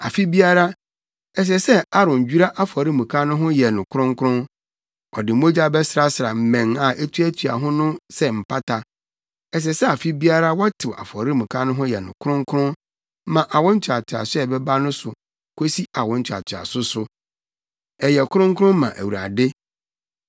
Afe biara, ɛsɛ sɛ Aaron dwira afɔremuka no ho yɛ no kronkron. Ɔde mogya bɛsrasra mmɛn a etuatua ho no so sɛ mpata. Ɛsɛ sɛ afe biara wɔtew afɔremuka no ho yɛ no kronkron ma awo ntoatoaso a ɛbɛba no so kosi awo ntoatoaso so. Ɛyɛ kronkron ma Awurade.”